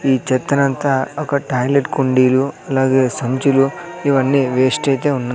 ఈ చెత్తనంతా ఒక టాయిలెట్ కుండీలు అలాగే సంచులు ఇవన్నీ వేస్ట్ అయితే ఉన్నా--